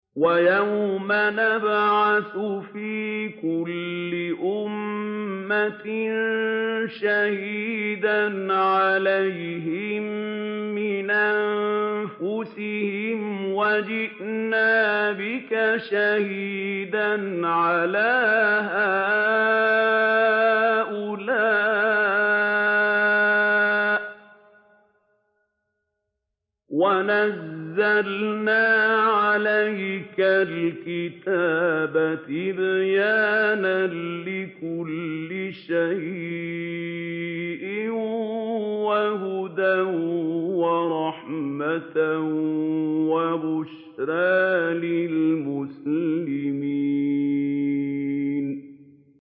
وَيَوْمَ نَبْعَثُ فِي كُلِّ أُمَّةٍ شَهِيدًا عَلَيْهِم مِّنْ أَنفُسِهِمْ ۖ وَجِئْنَا بِكَ شَهِيدًا عَلَىٰ هَٰؤُلَاءِ ۚ وَنَزَّلْنَا عَلَيْكَ الْكِتَابَ تِبْيَانًا لِّكُلِّ شَيْءٍ وَهُدًى وَرَحْمَةً وَبُشْرَىٰ لِلْمُسْلِمِينَ